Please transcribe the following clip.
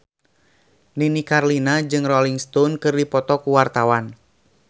Nini Carlina jeung Rolling Stone keur dipoto ku wartawan